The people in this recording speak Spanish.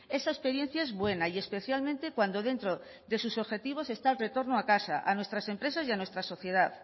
esa experiencia es buena y especialmente cuando dentro de sus objetivos está el retorno a casa a nuestras empresas y a nuestra sociedad